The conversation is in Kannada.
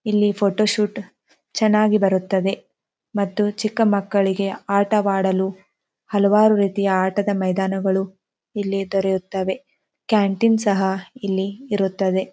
ಇಲ್ಲಿ ಫೋಟೋ ಶೂಟ್ ಚೆನ್ನಾಗಿ ಬರುತ್ತದೆ ಮತ್ತು ಚಿಕ್ಕ ಮಕ್ಕಳಿಗೆ ಆಟವಾಡಲು ಹಲವಾರು ರೀತಿಯ ಆಟದ ಮೈದಾನಗಳು ಇಲ್ಲಿ ದೊ ರೆಯುತ್ತವೆ ಕ್ಯಾಂಟೀನ್ ಸಹ ಇಲ್ಲಿ ಇರುತ್ತದೆ.